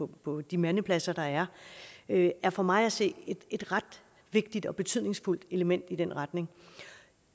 på de mandepladser der er er for mig at se et ret vigtigt og betydningsfuldt element i den retning